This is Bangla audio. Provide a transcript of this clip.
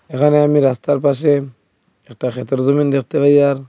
এখানে আমি রাস্তার পাশে একটা ক্ষেতের জমিন দেখতে পাই আর--